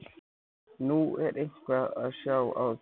Nú, er eitthvað að sjá á því?